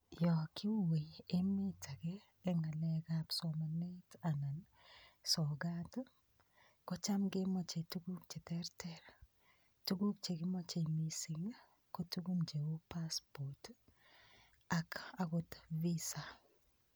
Yo kiuwe emet age eng ngalekab somanet anan sogat ii kocham kemoche tuguk cheterter tuguk che kimachei mising ii ko tuguk cheu passport ii ak agot visa.